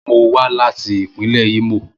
Mo wa lati ipinle Imo.